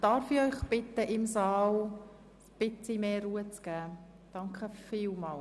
Darf ich Sie um etwas mehr Ruhe im Saal bitten?